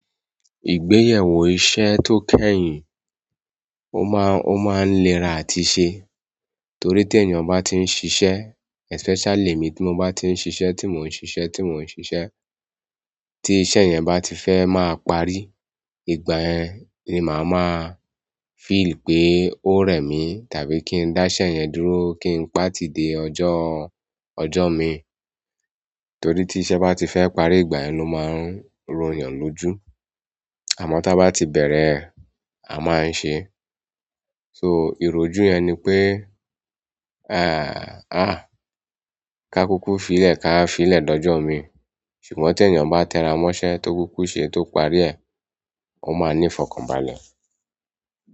Ìgbéyẹwó iṣẹ́ tó kẹ́yìn, ó máa, ó máa ń lera àti ṣe. Torí tí ènìyàn bá ti ń ṣiṣẹ́, especially emi tí mo bá ti ń ṣiṣẹ́, tí mò ń ṣiṣẹ́, tí mò ń ṣiṣẹ́, tí iṣẹ́ yẹn bá ti fẹ́ máa parí, ìgbà yẹn ni maa maa feel pe o rẹ mi tàbí ki n da iṣẹ́ yẹn dúró ki n pati di ọjọ mii. Torí ti iṣẹ́ bati fẹ parí ìgbà yẹn lo maa n royan loju. Àmọ́ tí a bá ti bẹ̀rẹ̀ ẹ, a máa ń se. So ìròju yẹn ni pé, àáa, ká kúkú fi lẹ̀ ká fi lẹ̀ dojọ́ mii. Ṣùgbọ́n tí ènìyàn bá tẹra mọ́ṣẹ́ tó kúkú ṣe tó parí ẹ̀, ó máa ní ìfọ̀kànbalẹ̀.